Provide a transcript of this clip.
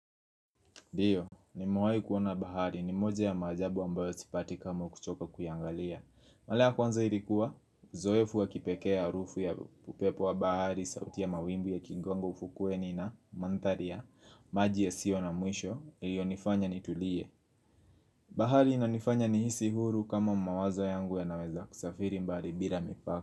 Ndio, nimewai kuona bahari, ni moja ya maajabu ambayo sipati kama kuchoka kuyaangalia Mara ya kwanza ilikuwa, uzoefu wa kipekee harufu ya upepo wa bahari, sauti ya mawimbi yakigonga ufukueni na, manthari ya maji yasiyo na mwisho, iliyonifanya nitulie bahari inanifanya nihisi huru kama mawazo yangu yanaweza kusafiri mbali bila mipaka.